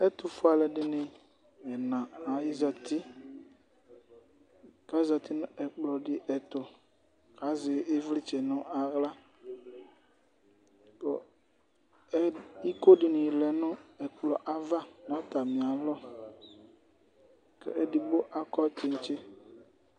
ɛtufue alu ɛdini ɛna ata ni bi zati, ku ayati nu ɛkplɔ be ɛtu azɛ ivlitsɛ nu aɣla, ku iko dini lɛ nu ɛkplɔɛ ava nu ata mi alɔ, ku edigbo akɔ tsitsi